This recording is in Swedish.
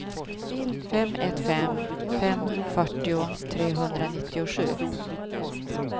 fem ett fem fem fyrtio trehundranittiosju